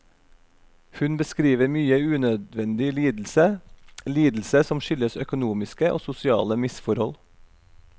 Hun beskriver mye unødvendig lidelse, lidelse som skyldes økonomiske og sosiale misforhold.